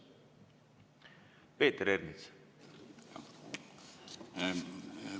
Peeter Ernits, palun!